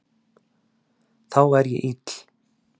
Þá er ég ill.